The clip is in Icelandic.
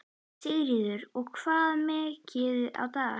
Sigríður: Og hvað mikið á dag?